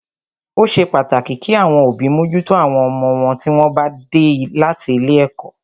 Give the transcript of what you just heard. Ó ṣe pàtàkì kí àwọn òbí mójútó àwọn ọmọ wọn tí wọ́n bá dé láti ilé ẹ̀kọ́.